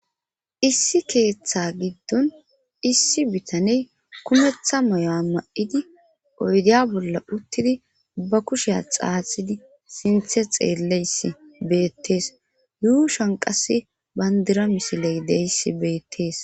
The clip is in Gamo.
issi keeththa giddon issi bitaney kumetha maya ma'idi oydiya bolla uttidi ba kusheya xaaxidi sinthe xeelleyssi beettees yuushan qasse bandira misiley deyssi beettees